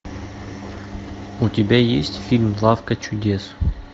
у тебя есть фильм лавка чудес